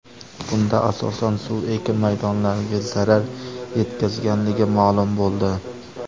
Bunda, asosan, suv ekin maydonlariga zarar yetkazganligi ma’lum bo‘ldi.